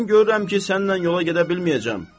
Mən görürəm ki, sənnən yola gedə bilməyəcəm.